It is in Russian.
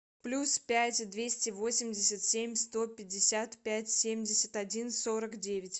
плюс пять двести восемьдесят семь сто пятьдесят пять семьдесят один сорок девять